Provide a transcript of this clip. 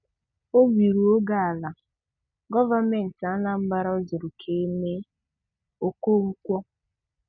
Obi rue gị ala, gọọmentị Anambra zuru ka eme - Okonkwo.